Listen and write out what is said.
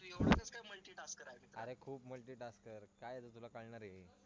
अरे खूप multi task काय तुला कळणारे